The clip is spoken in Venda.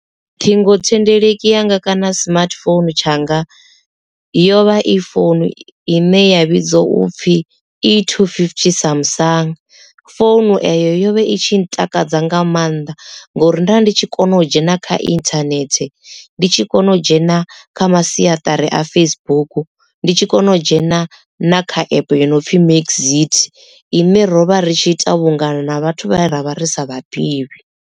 Ṱhingothendeleki yanga kana smartphone tshanga yo vha i founu i ne ya vhidzwa upfhi E250 Samsung founu eyo yo vha i tshi ntakadza nga maanḓa ngori nda ndi tshi kona u dzhena kha internet ndi tshi kona u dzhena kha masiaṱari a Facebook ndi tshi kona u dzhena na kha app yo no pfi mxit ine rovha ri tshi ita vhungana na vhathu vhane ravha ri sa vhadivhi.